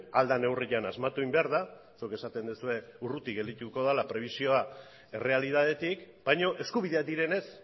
ahal den neurrian asmatu egin behar da zuek esaten duzue urruti gelditu dela prebizioa errealitatetik baina eskubideak direnez